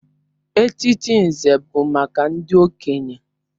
Echichi Nze bụ maka ndị okenye.